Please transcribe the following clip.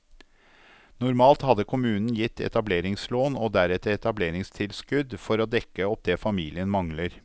Normalt hadde kommunen gitt etableringslån og deretter etableringstilskudd for å dekke opp det familien mangler.